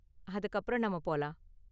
அதுக்கு அப்பறம் நாம போலாம்.